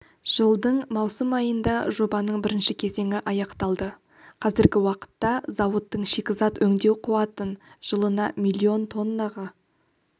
жылдың маусым айында жобаның бірінші кезеңі аяқталды қазіргі уақытта зауыттың шикізат өңдеу қуатын жылына миллион тоннаға